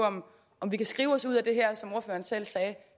om vi kan skrive os ud af det her som ordføreren selv sagde